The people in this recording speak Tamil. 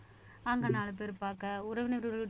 அங்க நாலு பேரு பார்க்க உறவினர்கள்